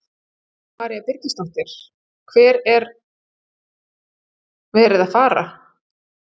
Kristín María Birgisdóttir: Hver er verið að fara?